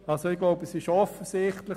Es ist also offensichtlich: